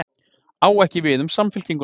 Á ekki við um Samfylkinguna